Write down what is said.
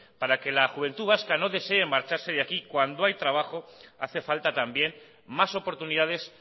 para que la juventud vasca no desee marcharse de aquí cuando hay trabajo hace falta también más oportunidades